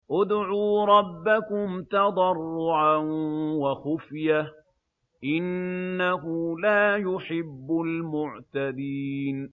ادْعُوا رَبَّكُمْ تَضَرُّعًا وَخُفْيَةً ۚ إِنَّهُ لَا يُحِبُّ الْمُعْتَدِينَ